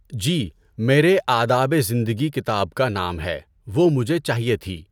جی میرے آدابِ زندگی کتاب کا نام ہے۔ وہ مجھے چاہیے تھی۔